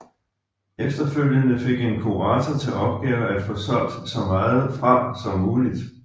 Efterfølgende fik en kurator til opgave at få solgt så meget fra som muligt